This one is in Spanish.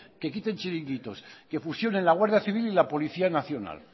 que quiten chiringuitos que fusionen la guardia civil y la policía nacional